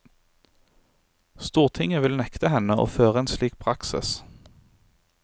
Stortinget vil nekte henne å føre en slik praksis.